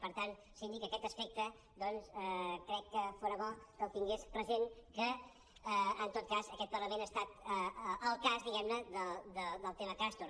per tant síndic aquest aspecte doncs crec que fora bo que el tingués present que en tot cas aquest parlament ha estat al cas diguem ne del tema castor